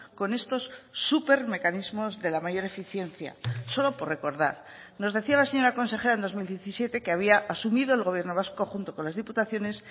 con estos supermecanismos de la mayor eficiencia solo por recordar nos decía la señora consejera en dos mil diecisiete que había asumido el gobierno vasco junto con las diputaciones